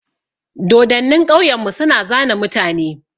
Dodonnin ƙauyan mu su na zane mutane.